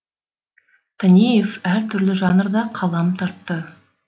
танеев әр түрлі жанрда қалам тартты